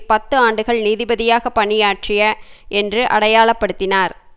பத்து ஆண்டுகள் நீதிபதியாக பணியாற்றிய என்று அடையாளப்படுத்தினார்